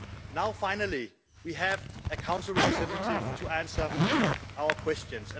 Now, finally, we have a Council representative to answer our questions.